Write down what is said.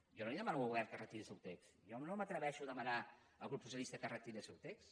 jo no demano al govern que retiri el seu text jo no m’atreveixo a demanar al grup socialista que retiri el seu text